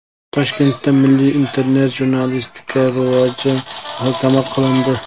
Toshkentda milliy internet-jurnalistika rivoji muhokama qilindi.